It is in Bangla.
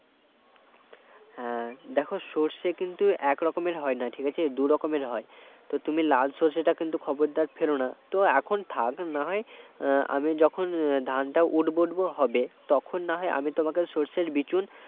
হ্যাঁ দেখো সরষে কিন্তু একরকমের হয় না ঠিক আছে দু রকমের হয় তো তুমি লাল সর্ষেটা কিন্তু খবরদার ফেলো না তো এখন থাক নাহয় আমি যখন ধানটা উঠব উঠব হবে তখন না হয় আমি তোমাকে সর্ষের বিচুন